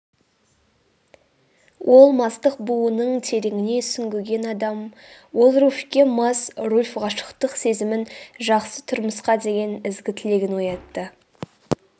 ол мастық буының тереңіне сүңгіген адам ол руфьке мас руфь ғашықтық сезімін жақсы тұрмысқа деген ізгі тілегін оятты